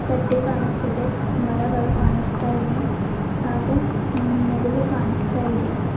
ತಟ್ಟೆ ಕಾಣಿಸ್ತಿದೆ ಮರಗಳು ಕಾಣಿಸ್ತಾ ಇವೆ ಲ್ ಹಾಗು ಮೂಗಲು ಕಾಣಿಸ್ತಾಇದೆ.